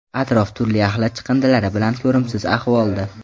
Atrof turli axlat chiqindilari bilan ko‘rimsiz ahvolda.